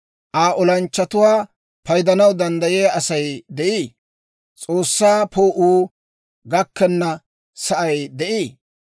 Aa olanchchatuwaa paydanaw danddayiyaa Asay de'ii? S'oossaa poo'uu gakkenna sa'ay de'ii?